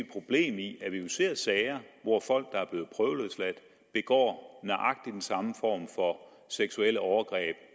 problem i at vi jo ser sager hvor folk der er blevet prøveløsladt begår nøjagtig den samme form for seksuelle overgreb